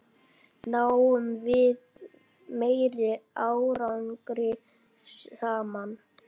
Náum við meiri árangri saman?